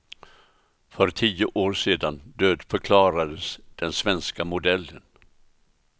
För tio år sedan dödförklarades den svenska modellen.